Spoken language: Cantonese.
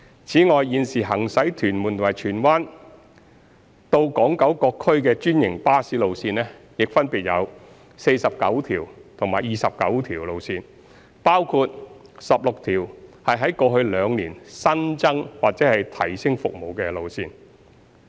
此外，現時行駛屯門及荃灣至港九各區的專營巴士路線，亦分別有49條及29條路線，包括16條在過去兩年新增或提升服務的路線。